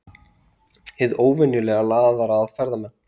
Hið óvenjulega laðar að ferðamenn